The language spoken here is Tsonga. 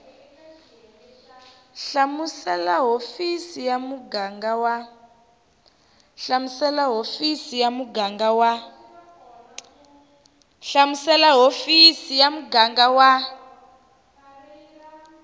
hlamusela hofisi ya muganga wa